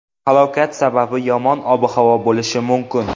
Halokat sababi yomon ob-havo bo‘lishi mumkin .